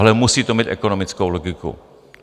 Ale musí to mít ekonomickou logiku.